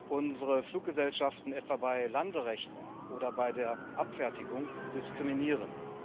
unsere Fluggesellschaften etwa bei Landerechten oder bei der Abfertigung diskriminieren.